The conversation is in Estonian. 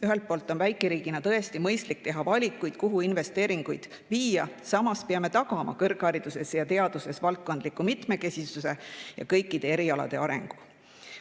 Ühelt poolt on väikeriigina tõesti mõistlik teha valikuid, kuhu investeeringuid viia, samas peame tagama kõrghariduses ja teaduses valdkondliku mitmekesisuse ja kõikide erialade arengu.